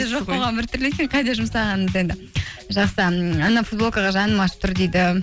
жоқ болғаны біртүрлі екен қайда жұмсағаныңыз енді жақсы анау футболкаға жаным ашып тұр дейді